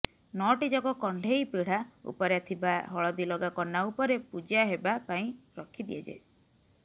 ନଅଟି ଯାକ କଣ୍ଢେଇ ପିଢ଼ା ଉପରେ ଥିବା ହଳଦୀଲଗା କନା ଉପରେ ପୂଜା ହେବା ପାଇଁ ରଖି ଦିଆଯାଏ